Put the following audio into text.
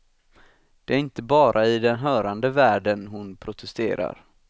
Det är inte bara i den hörande världen hon protesterar.